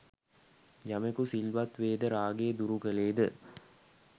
යමකු සිල්වත් වේද, රාගය දුරු කළේද